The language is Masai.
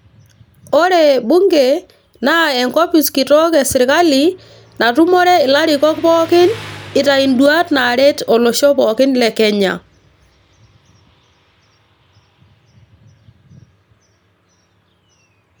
ore bunge naa enkopis kitok esirkali natumore ilarikok pookin ,itayu ind induat naaret olosho le kenya.